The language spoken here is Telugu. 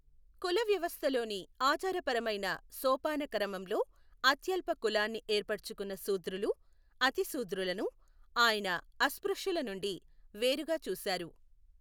కుల వ్యవస్థలోని ఆచారపరమైన సోపాన క్రమంలో అత్యల్ప కులాన్ని ఏర్పరుచుకున్న శూద్రులు, అతిశూద్రులను ఆయన అస్పృశ్యుల నుండి వేరుగా చూశారు.